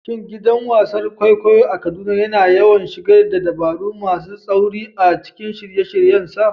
Shin gidan wasan kwaikwayo a Kaduna yana yawan shigar da dabaru masu tsauri a cikin shirye-shiryensa?